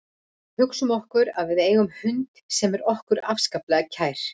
Hugsum okkur að við eigum hund sem er okkur afskaplega kær.